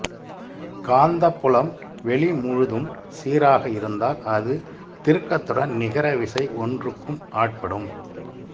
காந்தப் புலம் வெளிமுழுதும் சீராக இருந்தால் அது திருக்கத்துடன் நிகர விசை ஒன்றுக்கும் ஆட்படும்